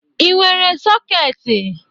Ị nwere sọketị?